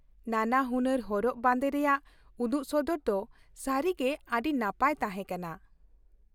ᱱᱟᱱᱟᱦᱩᱱᱟᱹᱨ ᱦᱚᱨᱚᱜ ᱵᱟᱸᱫᱮ ᱨᱮᱭᱟᱜ ᱩᱫᱩᱜ ᱥᱚᱫᱚᱨ ᱫᱚ ᱥᱟᱹᱨᱤᱜᱮ ᱟᱹᱰᱤ ᱱᱟᱯᱟᱭ ᱛᱟᱦᱮᱸ ᱠᱟᱱᱟ ᱾